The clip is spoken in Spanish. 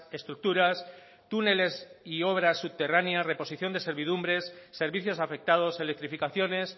estructuras túneles y obras subterráneas reposición de servidumbres servicios afectados electrificaciones